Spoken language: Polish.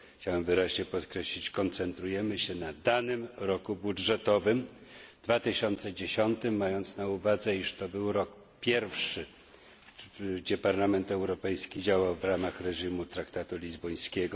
Chciałbym wyraźnie podkreślić koncentrujemy się na danym roku budżetowym 2010, mając na uwadze, iż to był rok pierwszy, w którym Parlament Europejski działał w ramach reżimu traktatu lizbońskiego.